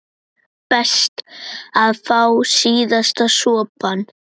Best að fá síðasta sopann.